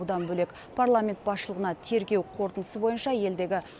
бұдан бөлек парламент басшылығына тергеу қорытындысы бойынша елдегі